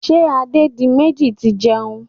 Ṣé Adédiméjì ti ń jẹun?